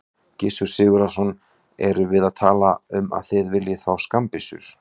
Gissur Sigurðsson: Erum við þá að tala um að þið viljið fá skammbyssur?